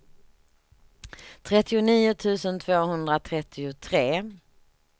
trettionio tusen tvåhundratrettiotre